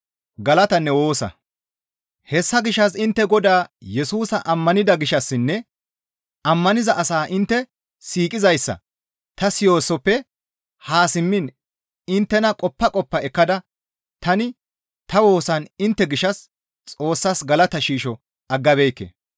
Hessa gishshas intte Godaa Yesusa ammanida gishshassinne ammaniza asaa intte siiqizayssa ta siyoosoppe haa simmiin inttena qoppa qoppa ekkada tani ta woosan intte gishshas Xoossas galata shiisho aggabeekke.